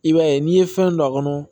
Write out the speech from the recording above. I b'a ye n'i ye fɛn don a kɔnɔ